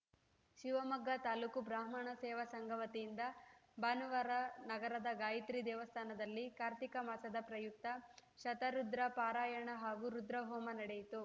ಶಿವಮೊಗ್ಗ ತಾಲೂಕು ಬ್ರಾಹ್ಮಣ ಸೇವಾ ಸಂಘ ವತಿಯಿಂದ ಭಾನುವಾರ ನಗರದ ಗಾಯತ್ರಿ ದೇವಸ್ಥಾನದಲ್ಲಿ ಕಾರ್ತಿಕ ಮಾಸದ ಪ್ರಯುಕ್ತ ಶತರುದ್ರ ಪಾರಾಯಣ ಹಾಗೂ ರುದ್ರಹೋಮ ನಡೆಯಿತು